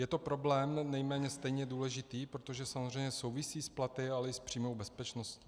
Je to problém nejméně stejně důležitý, protože samozřejmě souvisí s platy, ale i s přímou bezpečností.